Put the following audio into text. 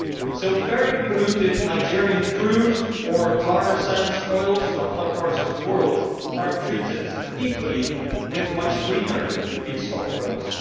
So highly polluting Nigerian crude or tar sand oils from other parts of the world are treated equally with much cleaner feedstock oils.